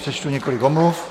Přečtu několik omluv.